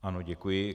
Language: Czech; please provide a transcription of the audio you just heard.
Ano, děkuji.